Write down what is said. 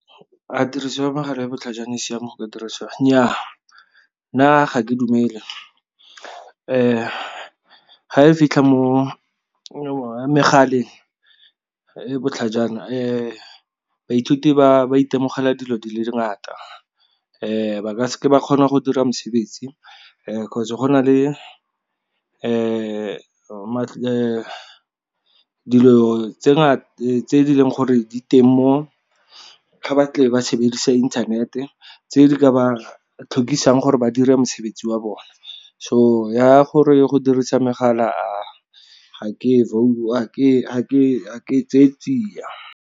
A tiriso ya mogala e botlhajana e siame go ka diriswa? Nnyaa, nna ga ke dumele ga e fitlha mo megaleng e botlhajana baithuti ba ba itemogela dilo di le dingata ba ka seke ba kgona go dira mosebetsi kgotsa go na le dilo tse e leng gore di teng mo ga ba tle ba sebedisa inthanete tse di ka ba tlhokisang gore ba dire mosebetsi wa bone. So ya gore go dirisa megala ga ke tseye tsia.